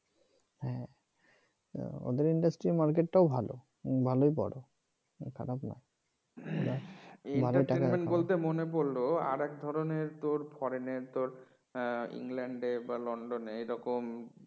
ওদের industry market টাও ভালো ভালোই বড় খারাপ না entertainment ইবলতে মনে পড়ল আরেক ধরনের তোর ফরেনে তোর হ্যাঁ ইংল্যান্ডে বা লন্ডনে এরকম